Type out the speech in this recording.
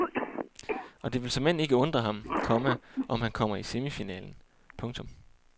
Og det vil såmænd ikke undre ham, komma om han kommer i semifinalen. punktum